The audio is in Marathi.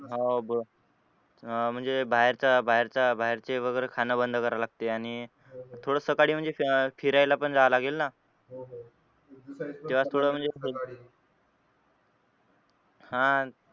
हा अं म्हणजे बाहेरचा बाहेरचा बाहेरचे वगैरे खाना बंद करा लागते आणि थोडा सकाळी म्हणजे फिरायला पण जावं लागेल ना हा